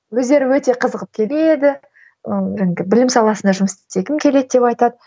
өздері өте қызығып келеді ыыы жаңағы білім саласында жұмыс істегім келеді деп айтады